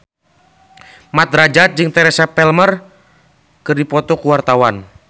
Mat Drajat jeung Teresa Palmer keur dipoto ku wartawan